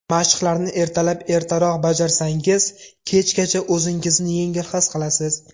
Mashqlarni ertalab ertaroq bajarsangiz, kechgacha o‘zingizni yengil his qilasiz.